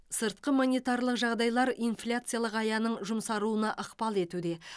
сыртқы монетарлық жағдайлар инфляциялық аяның жұмсаруына ықпал етуде